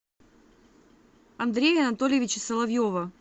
андрея анатольевича соловьева